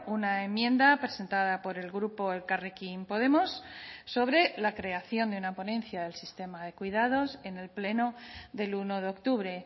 una enmienda presentada por el grupo elkarrekin podemos sobre la creación de una ponencia del sistema de cuidados en el pleno del uno de octubre